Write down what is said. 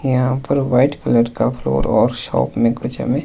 यहां पर white colour का फ्लोर और शॉप में कुछ हमें--